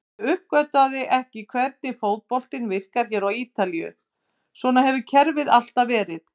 Ég uppgötvaði ekki hvernig fótboltinn virkar hér á Ítalíu, svona hefur kerfið alltaf verið.